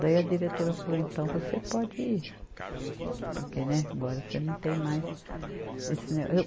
Daí a diretora falou, então você pode ir, porque né, agora você não tem mais esse né, eu.